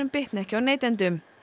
bitni ekki á neytendum